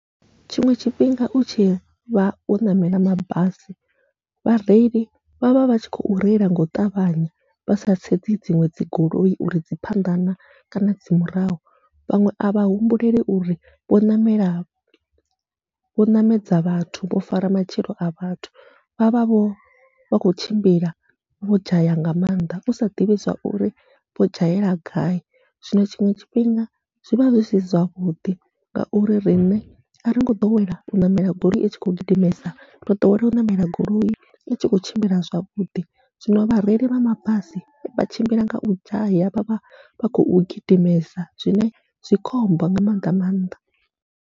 Tshiṅwe tshifhinga utshi vha wo ṋamela mabasi, vhareili vha vha vhatshi khou reila ngau ṱavhanya vha sa sedzi dziṅwe dzi goloi uri dzi phanḓa kana kana dzi murahu, vhaṅwe avha humbuleli uri vho ṋamela vho ṋamedza vhathu vho fara matshilo a vhathu vha vha vho vha khou tshimbila vho dzhaya nga maanḓa usa ḓivhi zwauri vho dzhayela gai. Zwino tshiṅwe tshifhinga zwivha zwi si zwavhuḓi ngauri riṋe aringo ḓowela u ṋamela goloi itshi kho gidimesa, ro ḓowela u ṋamela goloi itshi kho tshimbila zwavhuḓi zwino vhareili vha mabasi vha tshimbila nga u dzhaya vha vha vha khou gidimesa zwine zwi khombo nga maga nga maanḓa.